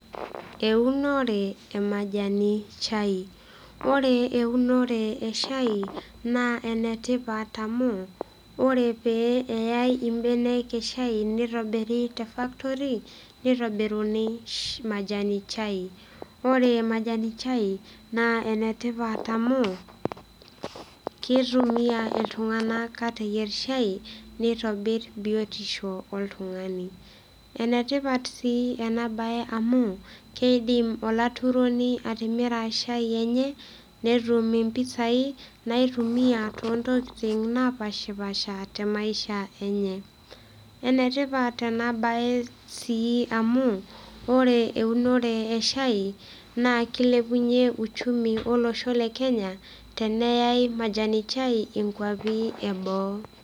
eunore e majani chai ore eunore e shai naa ene tipat amu, ore pee eyae ibenek e shai nitobiri te factory nitobiruni majani chai ore majani chai, naa ene tipat amu kitumia iltung'anak, aateyier shai nitobir biotisho oltung'ani, ene tipat sii ena bae amu, keidim olaturoni atimira shai enye netum mpisai, naitumia too ntokitin naapashipaasha te maisha enye. ene tipat, tena bae sii amu, ore eunore e shai naa kilepunye uchumi olosho le kenya, teneyae majani chai inkuapi e boo.